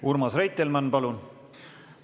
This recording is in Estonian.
Urmas Reitelmann, palun!